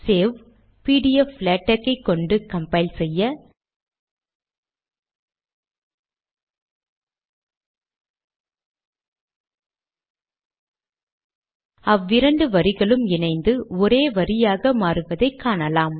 save PDF LaTeX ஐ கொண்டு compile செய்ய- அவ்விரண்டு வரிகளும் இணைந்து ஒரே வரியாக மாறுவதை காணலாம்